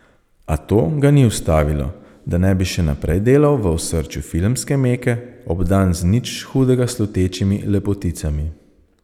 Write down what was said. A to ga ni ustavilo, da ne bi še naprej delal v osrčju filmske meke, obdan z nič hudega slutečimi lepoticami.